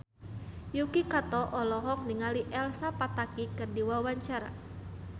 Yuki Kato olohok ningali Elsa Pataky keur diwawancara